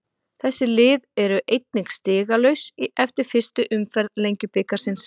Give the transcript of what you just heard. Þessi lið eru einnig stigalaus eftir fyrstu umferð Lengjubikarsins.